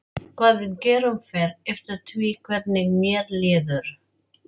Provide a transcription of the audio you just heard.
Hvað við gerum fer eftir því hvernig mér líður.